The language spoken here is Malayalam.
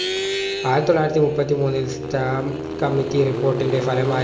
ആയിരത്തിതൊള്ളായിരത്തി മുപ്പത്തിമൂന്നിൽ stamp committee report ൻറെ ഫലമായി